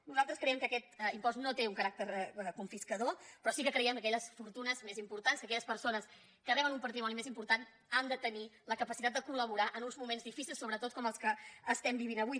nosaltres creiem que aquest impost no té un caràcter confiscador però sí que creiem que aquelles fortunes més importants que aquelles persones que reben un patrimoni més important han de tenir la capacitat de col·laborar en uns moments difícils sobretot com els que estem vivint avui